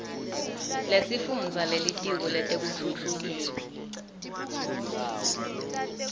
lesifundza lelitiko letekutfutfukiswa